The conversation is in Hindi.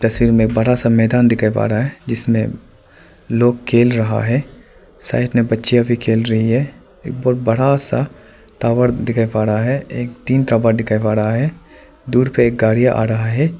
तस्वीर में बड़ा सा मैदान दिखाई पा रहा है जिसमें लोग खेल रहा हैं साइड में बच्चियां भी खेल रही हैं एक बहोत बड़ा सा टावर दिखाई पा रहा है तीन टावर दिखाई पा रहा है दूर पे एक गाड़ी आ रहा है।